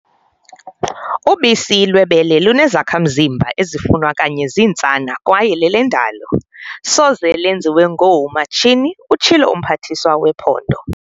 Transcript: "Ubisi lwebele lunezakha-mzimba ezifunwa kanye zintsana kwaye lelendalo, soze lenziwe ngoomatshini," utshilo uMphathiswa wePhondo.